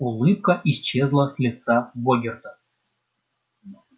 улыбка исчезла с лица богерта